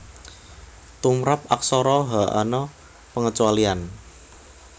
Tumrap Aksara Ha ana pangecualian